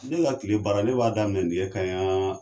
Ne ka tile baara ne b'a daminɛ nɛgɛ kanɲan